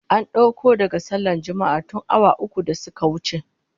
An dauko daga sallar Juma'ah tun awa uku da suka wuce